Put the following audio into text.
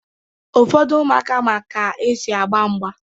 Ụfọdụ ụmụaka ma ka-esi agba mgba